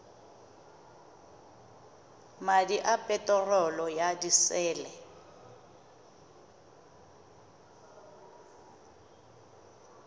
madi a peterolo ya disele